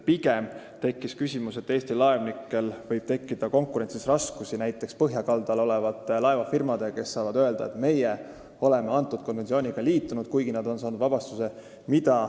Pigem tekkis küsimus, et Eesti laevnikel võib tekkida konkurentsis raskusi näiteks põhjakaldal olevate laevafirmadega, kes saavad öelda, et meie oleme konventsiooniga liitunud, kuigi nad on saanud vabastuse.